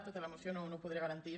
tota la moció no ho podré garantir